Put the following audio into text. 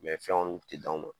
fɛn kɔni kun ti d'anw ma.